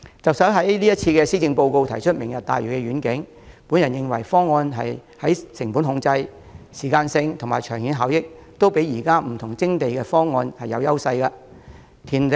特首在今年的施政報告中提出"明日大嶼願景"，我認為該方案在成本控制、時間性和長遠效益方面，均勝於各項現有的徵地方案。